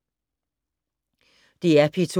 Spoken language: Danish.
DR P2